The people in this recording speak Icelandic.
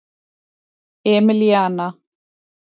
Emilíana